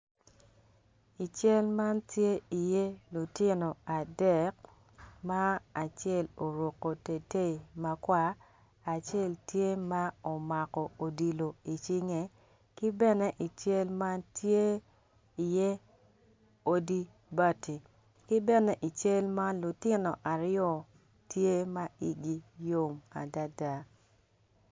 I cal man tye iye lutino adek ma acel oruko tetei makwar acel tye ma omako odilo i cinge kibene i cal man tye iye odi bati ki bene i cal man lutino aryo tye ma igi yom adada.